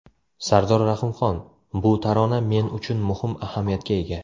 Sardor Rahimxon: Bu tarona men uchun muhim ahamiyatga ega.